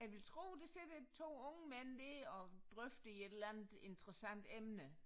Jeg vil tro der sidder to unge mænd dér og drøfter et eller andet interessant emne